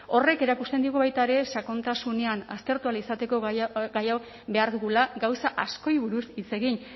horrek erakusten digu baita ere sakontasunean aztertu ahal izateko gai hau behar dugula gauza askori buruz hitz egin